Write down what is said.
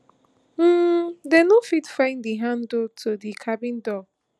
um dem no fit find di handle to di cabin door